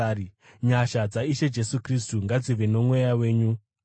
Nyasha dzaIshe Jesu Kristu ngadzive nomweya wenyu. Ameni.